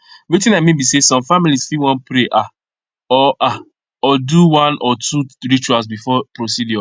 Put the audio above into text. wetin i mean be say some families fit wan pray ah or ah or do one or two rituals before procedure